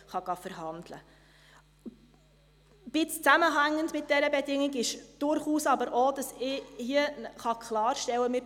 Ein wenig im Zusammenhang mit dieser Bedingung steht aber durchaus auch, dass ich hier klarstellen kann: